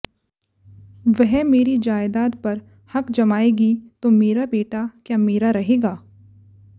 वह मेरी जयदाद पर हक जमाएगी तो मेरा बेटा क्या मेरा रहेगा